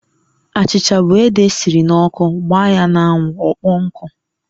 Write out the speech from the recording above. Achicha bu ede esiri n'ọkụ gbaa ya n'anwụ ọkpọọ nkụ.